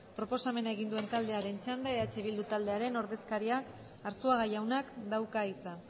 proposamena egin duen taldearen txanda eh bildu taldearen ordezkariak arzuaga jaunak dauka hitza